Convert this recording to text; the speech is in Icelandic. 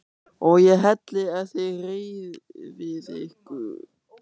OG ÉG HELLI EF ÞIÐ HREYFIÐ YKKUR!